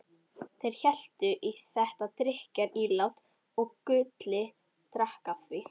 Þeir helltu í þetta drykkjarílát og Gulli drakk af því.